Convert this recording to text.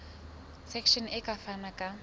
section e ka fana ka